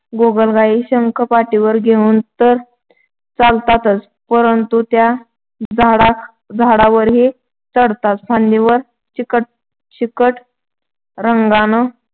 गोगलगाई शंख पाठीवर घेऊन तर चालतातच परंतु त्या झाडावरही चढतात फांदीवर चिकट रंगानं